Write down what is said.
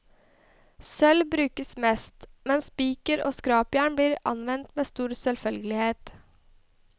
Sølv brukes mest, men spiker og skrapjern blir anvendt med stor selvfølgelighet.